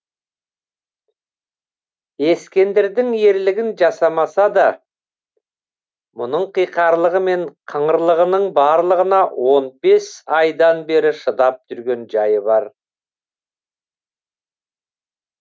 ескендірдің ерлігін жасамаса да мұның қиқарлығы мен қыңырлығының барлығына он бес айдан бері шыдап жүрген жайы бар